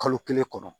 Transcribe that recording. Kalo kelen kɔnɔ